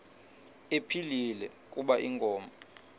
ephilile kuba inkomo